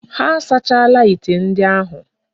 Ha asachaala ite ndi ahu.